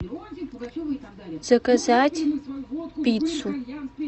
заказать пиццу